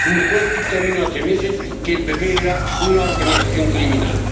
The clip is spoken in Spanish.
Un juez dictaminó hace meses que el PP era una organización criminal.